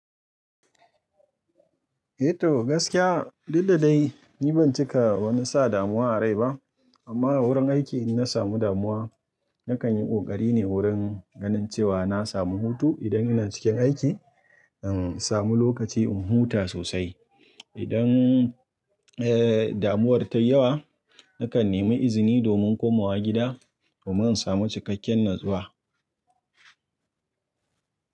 Eh toh gaskiya, duk da dai ni ban cika wani sa damuwa a rai ba amma a wurin aiki in na samu damuwa nakan yi ƙoƙari ne wurin ganin cewa na samu hutu idan ina cikin aiki, in samu lokaci in huta sosai. Idan, eh, damuwar ta yi yawa nakan nemi izini domin komawa gida domin in samu cikakken natsuwa.